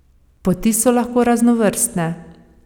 Poti so lahko raznovrstne.